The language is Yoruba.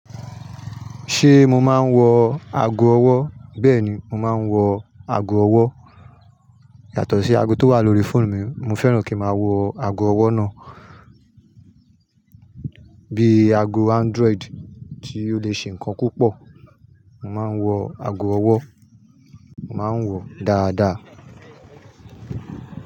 Ṣé mo máa ń wọ ago ọwọ́? Bẹ́ẹ̀ ni, mo máa ń wọ ago ọwọ́. Yàtọ̀ sí ago tó wà lórí fóònù mi. Mo fẹ́ràn kí ń máa wọ ago ọwọ́ náà. Bíi ago Android tí ó lè ṣe nǹkan púpọ̀. Mo máa ń wọ ago ọwọ́, mo máa ń wọ ó dáadáa.